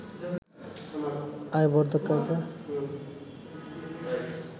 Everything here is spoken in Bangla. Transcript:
আয় বর্ধক কাজে